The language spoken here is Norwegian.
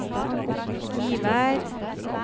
Givær